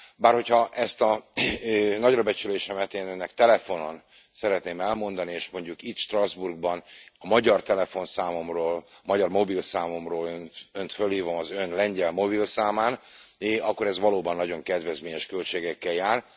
Bár hogyha ezt a nagyrabecsülésemet én Önnek telefonon szeretném elmondani, és mondjuk itt, Strasbourgban a magyar telefonszámomról, magyar mobilszámomról Önt felhívom az Ön lengyel mobilszámán, akkor ez valóban nagyon kedvezményes költségekkel jár.